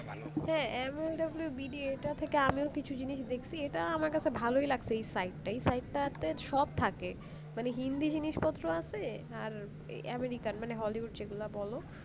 হ্যাঁ এমন mlwbd টা থেকে আমিও কিছু জিনিষ দেখছি এটা আমার কাছে ভালই লাগছে এই site টাই এই site টাতে সব থাকে মানে হিন্দি জিনিসপ্ত্র আছে আর American মানে hollywood যেগুলো বল